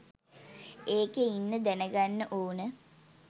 ඒකේ ඉන්න දැනගන්න ඕන